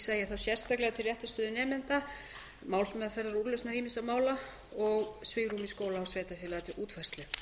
ég þá sérstaklega til réttarstöðu nemenda málsmeðferðarúrlausna ýmissa mála og svigrúmi skóla og sveitarfélaga til útfærslu legg